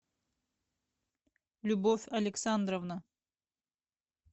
любовь александровна